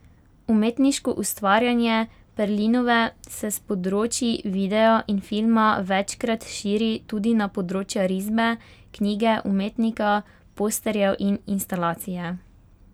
Umetniško ustvarjanje Perlinove se s področji videa in filma večkrat širi tudi na področja risbe, knjige umetnika, posterjev in instalacije.